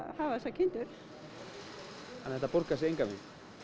hafa þessar kindur þannig þetta borgar sig engan veginn